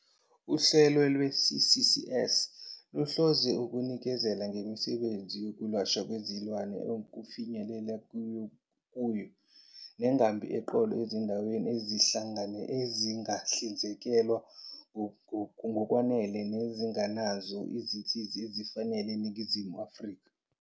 "Uhlelo lwe-CCS luhlose ukuhlinzeka ngemisebenzi yokwelashwa kwezilwane okufinyelelekayo kuyo nengambi eqolo ezindaweni ezingahlinzekelwa ngokwanele nezingenazo izinsiza ezifanele eNingizimu Afrika.